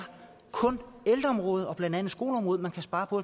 kun ældreområdet og skoleområdet man kan spare på